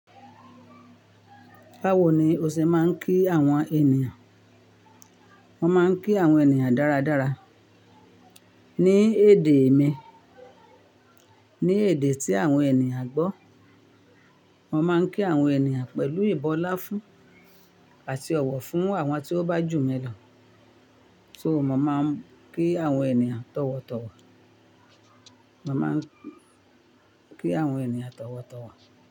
Báwo ni o ṣe máa ń kí àwọn ènìyàn? Mọ́ máa ń kí àwọn ènìyàn dáradára. Ní èdè mi, ní èdè tí àwọn ènìyàn gbọ́, mọ́ máa ń kí àwọn ènìyàn pẹ̀lú ìbọ́ ọláfún àti ọ̀wọ̀ fún àwọn tí wọ́n bá jù mí lọ. So mo máa ń kí àwọn ènìyàn tọ̀wọ̀tọ̀wọ̀. Mo máa ń kí àwọn ènìyàn tọ̀wọ̀tọ̀wọ̀.